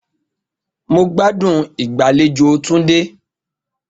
Mo gbádùn ìgbàlejò Tunde